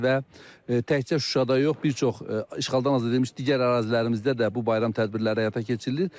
Və təkcə Şuşada yox, bir çox işğaldan azad edilmiş digər ərazilərimizdə də bu bayram tədbirləri həyata keçirilir.